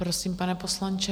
Prosím, pane poslanče.